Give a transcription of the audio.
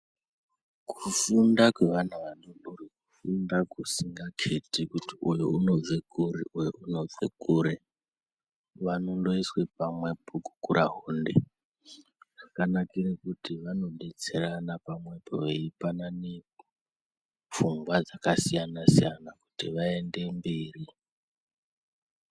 Kufunda kwevana vadoodori ,kufunda kusingakheti ,kuti uyu unobve kuri, uyu unobve kuri ,vanondoiswe pamwepo gukurahunde, zvakanakire kuti vanodetserana pamwepo veipanane pfungwa dzakasiyana-siyana kuti vaende mberi.